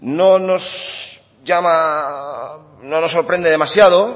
no nos sorprende demasiado